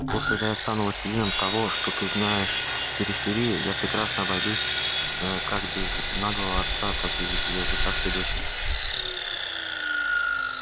вот когда я стану властелином того что ты знаешь периферией я прекрасно обойдусь как без наглого отца так и без языкастой дочери